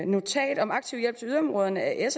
notat om aktiv hjælp til yderområderne at s